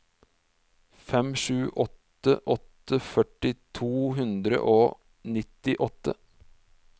fem sju åtte åtte førti to hundre og nittiåtte